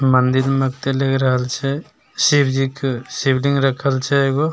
मंदिर में ते लएग रहल छै शिव जी के शिवलिंग रखल छै एगो।